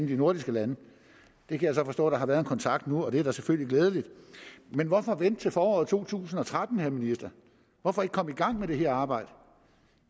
de nordiske lande jeg kan så forstå at der har været en kontakt nu og det er da selvfølgelig glædeligt men hvorfor vente til foråret 2013 vil ministeren hvorfor ikke komme i gang med det her arbejde